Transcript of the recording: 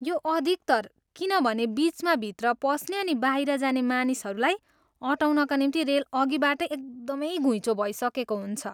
यो अधिकतर किनभने बिचमा भित्र पस्ने अनि बाहिर जाने मानिसहरूलाई अँटाउनका निम्ति रेल अघिबाटै एकदमै घुइँचो भइसकेको हुन्छ।